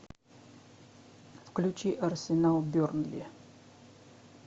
включи арсенал бернли